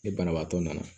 Ni banabaatɔ nana